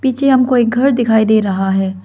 पीछे हम को एक घर दिखाई दे रहा है।